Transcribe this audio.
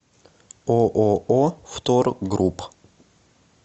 ооо втор групп